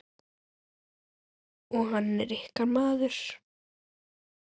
Og hann er ykkar maður.